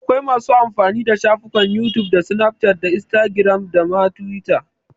Akwai masu amfani da shafukan youtube da snapchat da instagram da ma twitter.